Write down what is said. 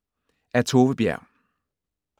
Af Tove Berg